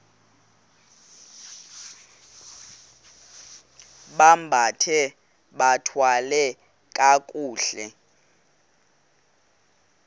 bambathe bathwale kakuhle